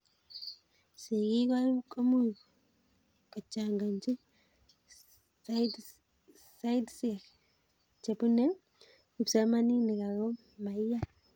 sikik komuchi kachanganchi sidesiek chepune kipsomaninik ako maiyan